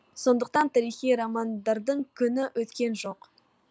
сондықтан тарихи романдардың күні өткен жоқ